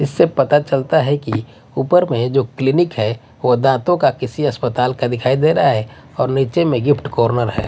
इससे पता चलता है कि ऊपर में जो क्लीनिक है वह दांतों का किसी अस्पताल का दिखाई दे रहा है और नीचे में गिफ्ट कॉर्नर है।